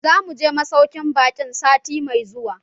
Zamu je masaukin ɓakin sati mai zuwa.